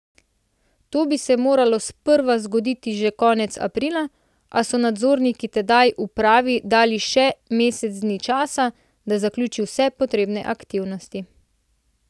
To bi se moralo sprva zgoditi že konec aprila, a so nadzorniki tedaj upravi dali še mesec dni časa, da zaključi vse potrebne aktivnosti.